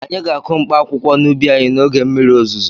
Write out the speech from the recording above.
Anyị ga-akụ mkpaakwụkwọ n'ubi anyị n'oge mmiri ozuzo.